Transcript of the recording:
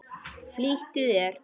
Flýttu þér.